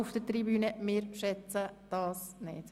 Das schätzen wir nicht.